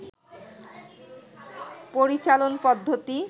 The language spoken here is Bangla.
পরিচালন পদ্ধতি